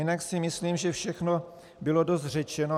Jinak si myslím, že všechno bylo dost řečeno.